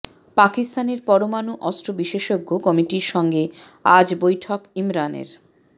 পাকিস্তানের পরমাণু অস্ত্র বিশেষজ্ঞ কমিটির সঙ্গে আজ বৈঠক ইমরানের